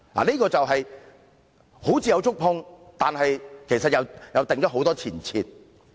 雖然政府願意觸碰一些"傷口"，但有很多前設。